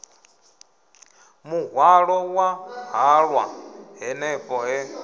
muhwalo wa halwa hanefho he